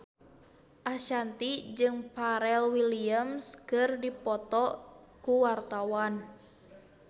Ashanti jeung Pharrell Williams keur dipoto ku wartawan